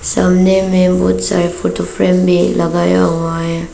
सामने में वो चार फोटो फ्रेम में लगाया हुआ है।